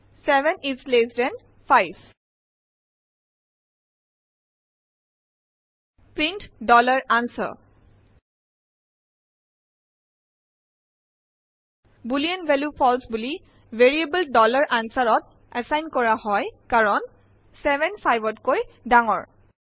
answer 75 print answer boolean value ফালছে variable answerত assign কৰা হয় কাৰণ 7 5 তকৈ ডাঙৰ হয়